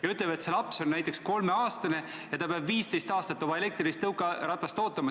Ja ütleme, et see laps on 3-aastane ja ta peab 15 aastat oma elektrilist tõukeratast ootama.